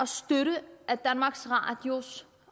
støtte at danmarks radio